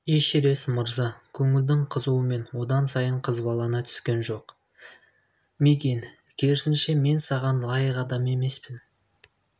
эшерест мырза көңілдің қызуымен одан сайын қызбалана түскен жоқ мигэн керісінше мен саған лайық адам емеспін